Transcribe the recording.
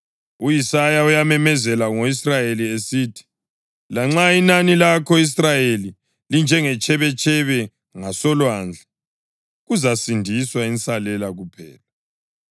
U-Isaya uyamemezela ngo-Israyeli esithi: “Lanxa inani labako-Israyeli linjengetshebetshebe ngasolwandle, kuzasindiswa insalela kuphela.